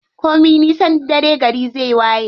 Komi nisan dare gari zai waye.